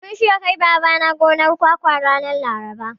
Mun shirya kai Babana gonar kwakwa ranar Laraba.